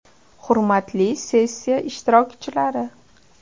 Hurmatli sessiya ishtirokchilari!